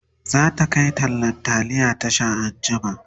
zata Kai tallan taliya Tasha anjima